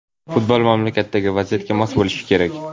Futbol mamlakatdagi vaziyatga mos bo‘lishi kerak.